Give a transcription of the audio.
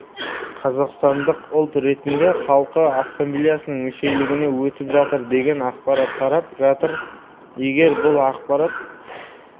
қазақстандық ұлт ретінде халқы ассамблеясының мүшелігіне өтіп жатыр деген ақпарат тарап жатыр егер бұл ақпарат